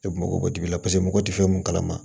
E mago bɛ dibi la paseke mɔgɔ tɛ fɛn mun kalama